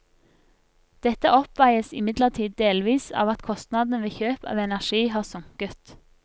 Dette oppveies imidlertid delvis av at kostnadene ved kjøp av energi har sunket.